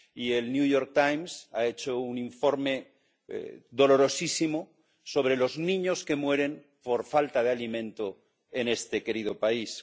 Y el New York Times ha hecho un informe dolorosísimo sobre los niños que mueren por falta de alimento en este querido país.